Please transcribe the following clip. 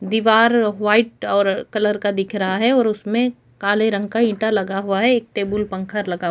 दिवार वाइट और कलर का दिख रहा है और उस में काले रंग का ईटा लगा हुआ है एक टेबल पंखा लगा--